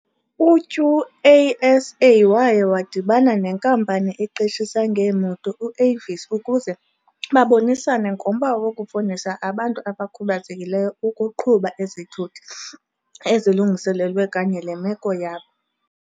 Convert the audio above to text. U-QASA waya wadibana nenkampani eqeshisa ngeemoto u-Avis ukuze babonisane ngomba wokufundisa abantu abakhubazekileyo ukuqhuba izithuthi ezilungiselelwe kanye le meko yabo.